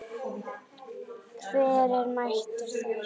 Hver er mættur þar?